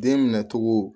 Den minɛ cogo